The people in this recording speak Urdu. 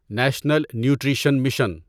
national nutrition mission